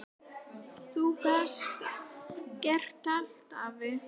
Þú gast gert allt, afi.